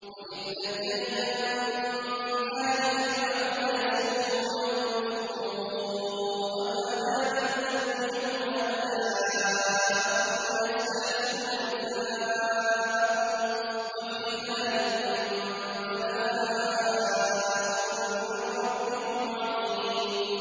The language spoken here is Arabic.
وَإِذْ نَجَّيْنَاكُم مِّنْ آلِ فِرْعَوْنَ يَسُومُونَكُمْ سُوءَ الْعَذَابِ يُذَبِّحُونَ أَبْنَاءَكُمْ وَيَسْتَحْيُونَ نِسَاءَكُمْ ۚ وَفِي ذَٰلِكُم بَلَاءٌ مِّن رَّبِّكُمْ عَظِيمٌ